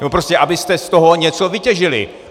Nebo prostě abyste z toho něco vytěžili.